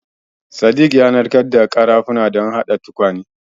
Sadik ya narkar da ƙarafunan don haɗa tukwane.